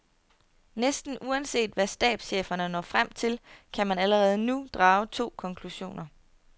Næsten uanset hvad stabscheferne når frem til, kan man allerede nu drage to konklusioner.